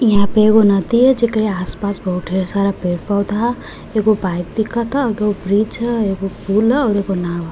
इहाँ पे ऐगो नदी है। जेकरे आस-पास बहोत ढेर सारा पेड़-पौधा ह। एगो बाइक दिखता। एगो ब्रिज ह। एगो पूल ह और एगो नाव ह।